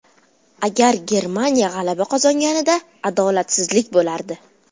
Agar Germaniya g‘alaba qozonganida adolatsizlik bo‘lardi.